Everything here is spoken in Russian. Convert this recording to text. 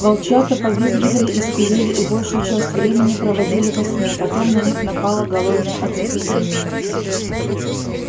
волчата повизгивали и скулили и большую часть времени проводили во сне потом на них напало голодное оцепенение